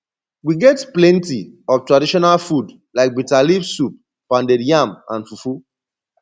we get plenty of traditional food like bitter leave soup pounded yam and fufu